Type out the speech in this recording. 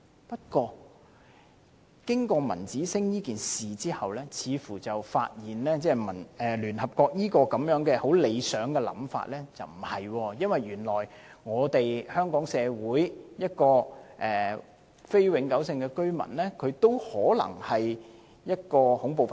不過，經過文子星事件後，我們發現聯合國這個很理想的想法似乎不對，因為原來香港社會一名非永久性居民，也可能是一名恐怖分子。